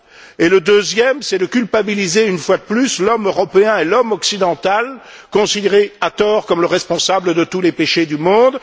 et le deuxième, c'est de culpabiliser une fois de plus l'homme européen et l'homme occidental considéré, à tort, comme le responsable de tous les péchés du monde.